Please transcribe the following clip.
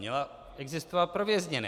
Měla existovat pro vězněné.